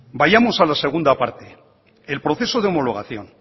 vayamos a la segunda parte el proceso de homologación